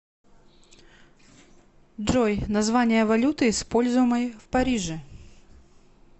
джой название валюты используемой в париже